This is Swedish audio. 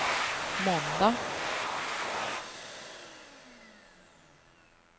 måndag